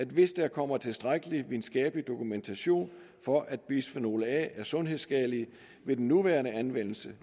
hvis der kommer tilstrækkelig videnskabelig dokumentation for at bisfenol a er sundhedsskadelig ved den nuværende anvendelse